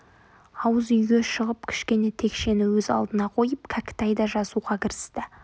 ауыз үйге шығып кішкене текшені өз алдына қойып кәкітай да жазуға кірісті